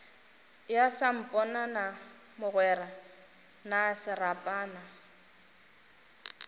ya samponana mogwera na serapana